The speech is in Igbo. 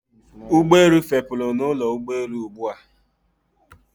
Ụgbọelu fepuru na ụlọ ụgbọelu ugbua